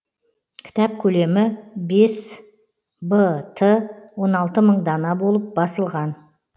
кітап көлемі бес б т он алты мың дана болып басылған